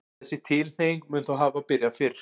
þessi tilhneiging mun þó hafa byrjað fyrr